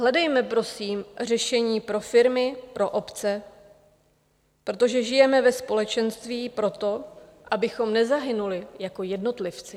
Hledejme prosím řešení pro firmy, pro obce, protože žijeme ve společenství proto, abychom nezahynuli jako jednotlivci.